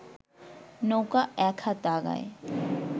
নৌকা এক হাত আগায়